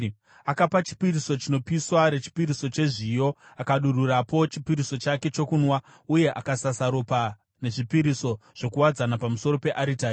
Akapa chipiriso chinopiswa, rechipiriso chezviyo, akadururapo chipiriso chake chokunwa uye akasasa ropa nezvipiriso zvokuwadzana pamusoro pearitari.